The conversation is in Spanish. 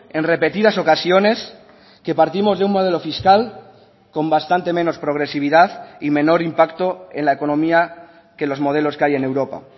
en repetidas ocasiones que partimos de un modelo fiscal con bastante menos progresividad y menor impacto en la economía que los modelos que hay en europa